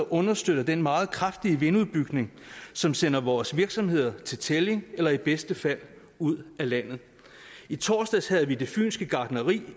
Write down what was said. understøtter den meget kraftige vindudbygning som sender vores virksomheder til tælling eller i bedste fald ud af landet i torsdags havde vi fyns gartneri